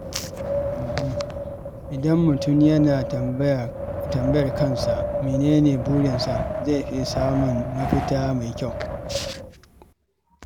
Idan mutum yana tambayar kansa menene burinsa, zai fi samun mafita mai kyau.